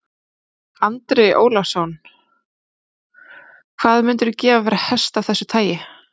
Andri Ólafsson: Hvað myndirðu gefa fyrir hest af þessu tagi?